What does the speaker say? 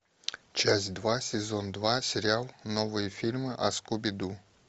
часть два сезон два сериал новые фильмы о скуби ду